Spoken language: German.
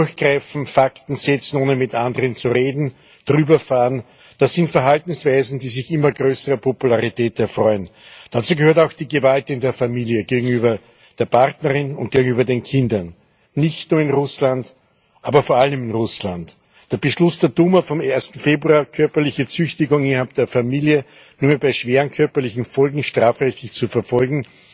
Durchgreifen, Fakten setzen, ohne mit anderen zu reden, drüberfahren das sind Verhaltensweisen, die sich immer größerer Popularität erfreuen. Dazu gehört auch die Gewalt in der Familie gegenüber der Partnerin und gegenüber den Kindern nicht nur in Russland, aber vor allem in Russland. Der Beschluss der Duma vom 1. Februar, körperliche Züchtigung innerhalb der Familie nur mehr bei schweren körperlichen Folgen strafrechtlich zu verfolgen,